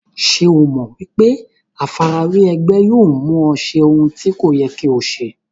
Ṣé o mọ̀ pé àfarawé ẹgbẹ́ yóò mú ọ ṣe ohun tí kò yẹ kí o ṣe?